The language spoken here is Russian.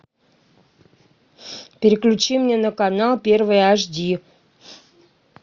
переключи мне на канал первый ашди